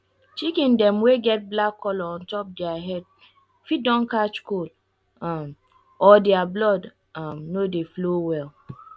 chicken dem wey get get black color ontop dere head fit don catch cold um or dere blood um no dey flow well